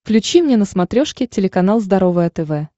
включи мне на смотрешке телеканал здоровое тв